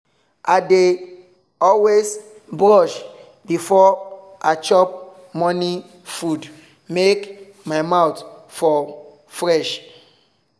i dey always brush before i chop morning food make my mouth for fresh.